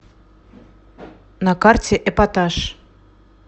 на карте эпатаж